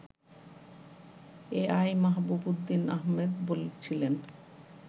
এ I Mahbub Uddin Ahmed বলছিলেন